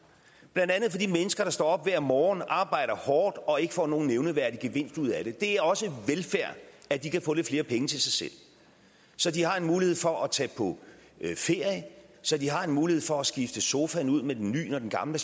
blandt andet for de mennesker der står op hver morgen arbejder hårdt og ikke får nogen nævneværdig gevinst ud af det det er også velfærd at de kan få lidt flere penge til sig selv så de har en mulighed for at tage på ferie så de har en mulighed for at skifte sofaen ud med en ny når den gamle